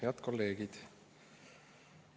Head kolleegid!